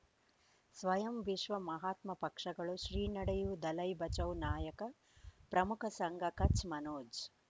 ಸ್ವಯಂ ವಿಶ್ವ ಮಹಾತ್ಮ ಪಕ್ಷಗಳು ಶ್ರೀ ನಡೆಯೂ ದಲೈ ಬಚೌ ನಾಯಕ ಪ್ರಮುಖ ಸಂಘ ಕಚ್ ಮನೋಜ್